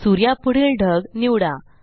सूर्या पुढील ढग निवडा